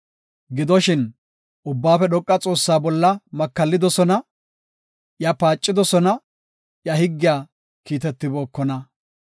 Gidoshin, Ubbaafe Dhoqa Xoossaa bolla makallidosona; iya paacidosona; iya higgiya kiitetibookona.